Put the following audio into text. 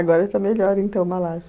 Agora está melhor, então, Malásia.